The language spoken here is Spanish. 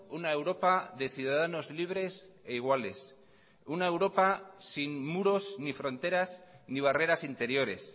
una europa de ciudadanos libres e iguales una europa sin muros ni fronteras ni barreras interiores